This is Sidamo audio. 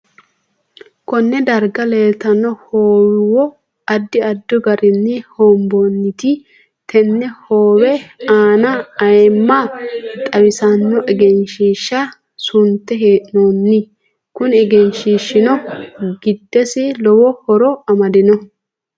Konne darga leeltanno hoowo addi addi garinni hoonboonite tenne howe aana ayiimma xawisanno egenshiisha sunte hee'nooni kuni egenshiishino giddisi lowo horo amadino